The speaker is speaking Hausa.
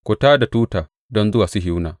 Ku tā da tuta don zuwa Sihiyona!